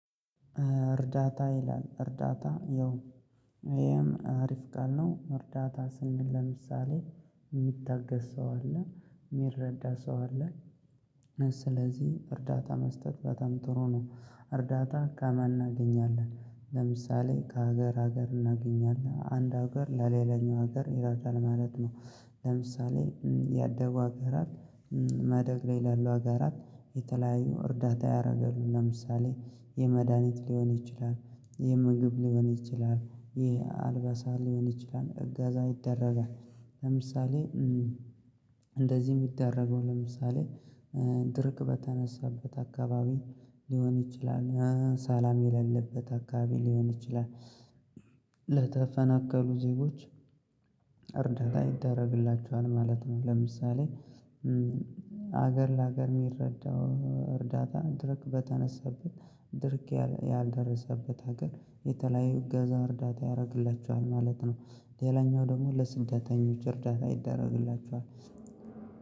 እርዳታ ይላል እርዳታ ያው ይሄም አሪፍ ቃል ነው። እርዳታ ስንል ለምሳሌ የሚታገዝ ሰው አለ የሚረዳ ሰው አለ። ስለዚህ እርዳታ መስጠት በጣም ጥሩ ነው። እርዳታን ከማን እናገኛለን ለምሳሌ ከሀገር ሀገር እናገኛለን አንድ ሀገር ለሌላኛው ሀገር ይረዳል ማለት ነው። ለምሳሌ ያደጉ ሀገራት ማደግ ላይ ላሉ ሀገራት የተለያዩ እርዳታ ያደርጋሉ ለምሳሌ የመድሃኒት ሊሆን ይችላል የምግብ ሊሆን ይችላል የአልባሳት ሊሆን ይችላል እገዛ ይደረጋል። ለምሳሌ እንደዚህ የሚደረገው ለምሳሌ ድርቅ በተነሳበት አካባቢ ሊሆን ይችላል ሰላም የሌለበት አካባቢ ሊሆን ይችላል። ለተፈናቀሉ ዜጎች እርዳታ ይደረግላቸዋል ማለት ነው። ለምሳሌ ሀገር ለሀገር የሚረዳው እርዳታ ድርቅ በተነሳበት ድርቅ ያልደረሰበት ሀገር የተለያዩ እገዛ እርዳታ ያደርግላቸዋል ማለት ነው። ሌላኛው ደግሞ ለስደተኞች እርዳታ ይደረግላችኋል።